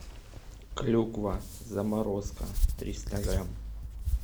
клюква заморозка триста грамм